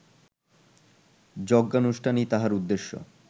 যজ্ঞানুষ্ঠানই তাহার উদ্দেশ্য